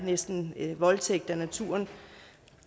næsten er voldtægt af naturen